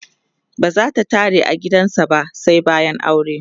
bazata tare a gidan sa ba sai bayan aure